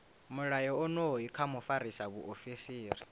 mulayo onoyu kha mufarisa muofisiri